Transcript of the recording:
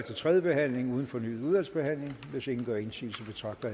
tredje behandling uden fornyet udvalgsbehandling hvis ingen gør indsigelse betragter